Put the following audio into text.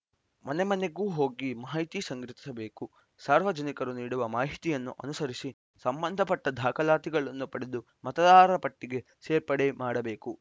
ಮನೆ ಮನೆಗೂ ಹೋಗಿ ಮಾಹಿತಿ ಸಂಗ್ರಹಿಸಬೇಕು ಸಾರ್ವಜನಿಕರು ನೀಡುವ ಮಾಹಿತಿಯನ್ನು ಅನುಸರಿಸಿ ಸಂಬಂಧಪಟ್ಟದಾಖಲಾತಿಗಳನ್ನು ಪಡೆದು ಮತದಾರರ ಪಟ್ಟಿಗೆ ಸೇರ್ಪಡೆ ಮಾಡಬೇಕು